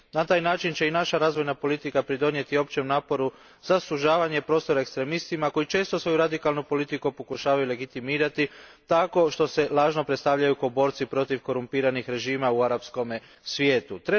Na taj način će i naša razvojna politika pridonijeti općem naporu za sužavanje prostora ekstremistima koji često svoju radikalnu politiku pokušavaju legitimirati tako što se lažno predstavljaju kao borci protiv korumpiranih režima u arapskom svijetu.